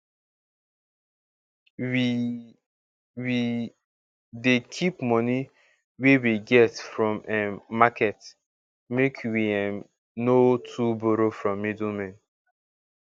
we we dey keep moni wey we get from um market make we um no too borrow from middlemen